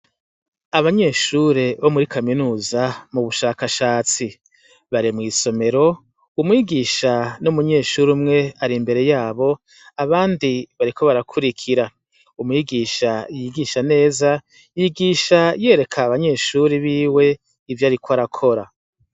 Abanyeshure bo muri kaminuza mu bushakashatsi bare mw'isomero umwigisha n'umunyeshuri umwe ari imbere yabo abandi bariko barakurikira umwigisha yigisha neza yigisha yereka abanyeshuri biwe ivyo, ariko arakora.